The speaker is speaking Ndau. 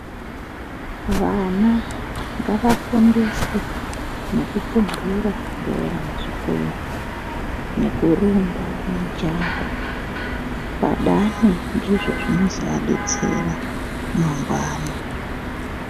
Vana ngavafundiswe nekupuntuura bhora kuzvikora nekurumba mijaho vakadaro ndizvo zvinozovadetsera mangwani.